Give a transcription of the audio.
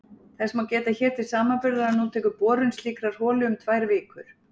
Þess má geta hér til samanburðar að nú tekur borun slíkrar holu um tvær vikur!